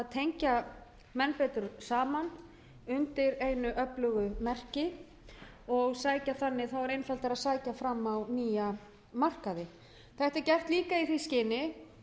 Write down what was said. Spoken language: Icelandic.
tengja menn saman undir einu öflugu merki og þá er einfaldara að sækja fram á nýja markaði þetta er gert líka í því skyni